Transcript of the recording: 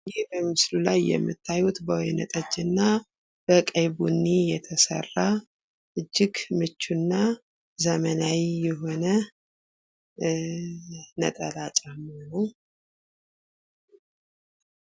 ይህ በምስሉ ላይ የምታዩት በወይነ ጠጅ በቀይ ቡኒ ቀለም የተሰራ እጅግ ምቹና ዘመናዊ ነጠላ ጫማ ነው።